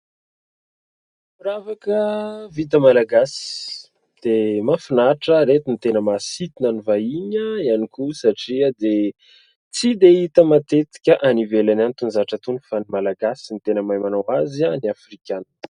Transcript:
Firavaka vita Malagasy dia mahafinaritra, ireto no tena mahasintona ny vahiny ihany koa satria dia tsy dia hita matetika any ivelany any itony zavatra itony fa ny Malagasy no tena mahay manao azy any Afrika any.